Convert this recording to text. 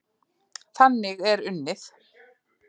Þannig er unnið.